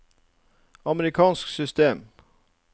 amerikansk system